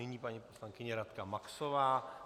Nyní paní poslankyně Radka Maxová.